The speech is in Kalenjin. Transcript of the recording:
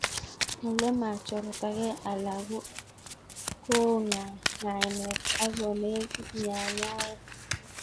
Ile machortakei alan ko oo ng'ainet ak konekit nyanyawet.